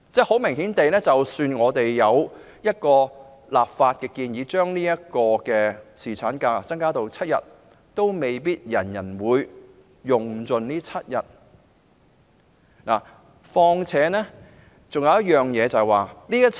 很明顯地，即使我們有一個立法規定僱主為僱員提供7天侍產假，亦未必人人會全數盡放有關假期。